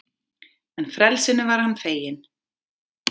En frelsinu var hann feginn.